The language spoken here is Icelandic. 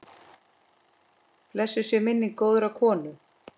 Blessuð sé minning góðrar konu.